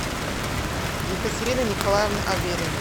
екатерины николаевны авериной